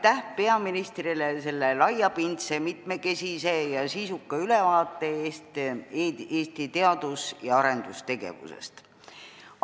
Aitäh peaministrile selle laiapindse, mitmekesise ja sisuka ülevaate eest Eesti teadus- ja arendustegevusest!